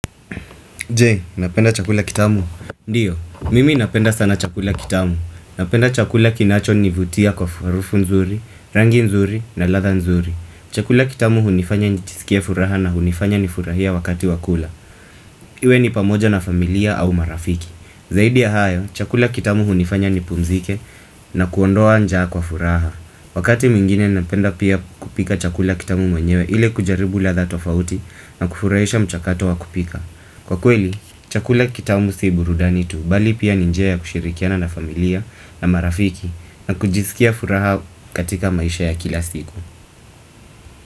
Je, unapenda chakula kitamu. Ndiyo, mimi napenda sana chakula kitamu. Napenda chakula kinachonivutia kwa farufu nzuri, rangi nzuri na ladha nzuri. Chakula kitamu hunifanya nijisikie furaha na hunifanya nifurahie wakati wa kula. Iwe ni pamoja na familia au marafiki. Zaidi ya hayo, chakula kitamu hunifanya nipumzike na kuondoa njaa kwa furaha. Wakati mwingine napenda pia kupika chakula kitamu mwenyewe ile kujaribu ladha tofauti na kufurahisha mchakato wa kupika. Kwa kweli, chakula kitamu si burudani tu bali pia ni njia ya kushirikiana na familia na marafiki na kujisikia furaha katika maisha ya kila siku.